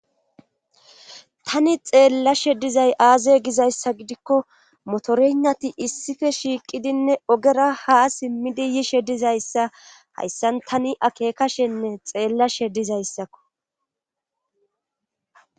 tani xeellashe dizay aaze gizayssa gidikko motorenati issife shiiqidinne ogera ha simmidi yishe dizayssa hayssan tani akeekashenne xeellashe dizayssakko